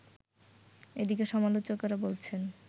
এদিকে সমালোচকেরা বলছেন